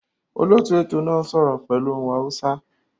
Olóòtú ètò náà n sọ́rọ́ pẹ́lu ohun Hausa